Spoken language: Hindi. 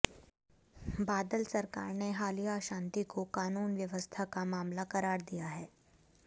बादल सरकार ने हालिया अशांति को कानून व्यवस्था का मामला करार दिया है